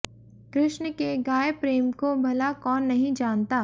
कृष्ण के गाय प्रेम को भला कौन नहीं जानता